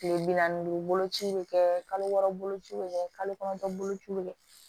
Tile bi naani ni duuru boloci bɛ kɛ kalo wɔɔrɔ boloci bɛ kɛ kalo kɔnɔntɔn bolociw bɛ kɛ